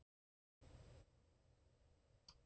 Heimir: Áttu von á tíðindum af loknum þessum fundi?